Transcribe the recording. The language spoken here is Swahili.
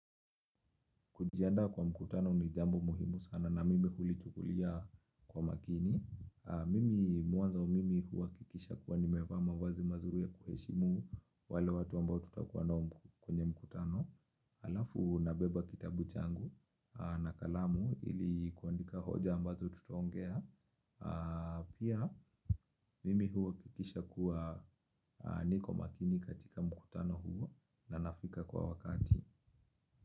Kujiandaa kwa mkutano ni jambo muhimu sana na mimi hulichukulia kwa makini. Mimi mwanzo wa mimi huhakikisha kuwa nimevaa mavazi mazuri kuheshimu wale watu ambao tutakuwa nao kwenye mkutano. Alafu nabeba kitabu changu na kalamu ili kuandika hoja ambazo tutaongea. Pia mimi huhakikisha kuwa ni kwa makini katika mkutano huwa na nnafika kwa wakati.